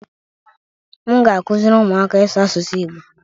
M ga-akụziri ụmụaka ịsụ asụsụ Igbo